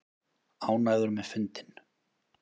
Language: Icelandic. Ánægður með fundinn